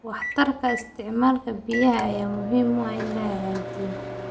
Waxtarka isticmaalka biyaha ayaa u baahan in la hagaajiyo.